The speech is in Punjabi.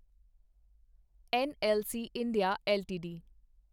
NLC India LTD